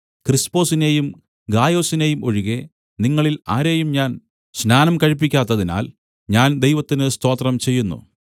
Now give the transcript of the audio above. ക്രിസ്പൊസിനെയും ഗായൊസിനെയും ഒഴികെ നിങ്ങളിൽ ആരെയും ഞാൻ സ്നാനം കഴിപ്പിക്കാത്തതിനാൽ ഞാൻ ദൈവത്തിന് സ്തോത്രം ചെയ്യുന്നു